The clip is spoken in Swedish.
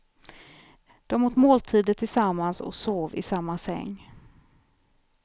De åt måltider tillsammans och sov i samma säng.